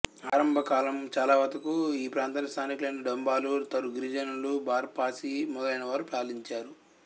ఆరంభకాలం చాలావతకు ఈ ప్రాంతాన్ని స్థానికులైన డొంబాలు తరు గిరిజనులు భార్ పాసి మొదలైన వారు పాలించారు